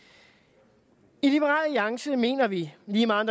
i liberal alliance mener vi lige meget